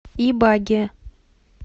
ибаге